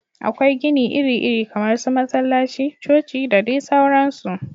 Akwai gini iri iri kamar su masallaci, coci da dai sauransu